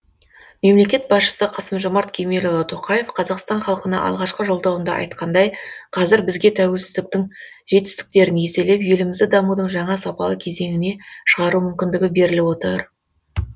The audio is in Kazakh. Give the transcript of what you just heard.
мемлекет басшысы қасым жомарт кемелұлы тоқаев қазақстан халқына алғашқы жолдауында айтқандай қазір бізге тәуелсіздіктің жетістіктерін еселеп елімізді дамудың жаңа сапалы кезеңіне шығару мүмкіндігі беріліп отыр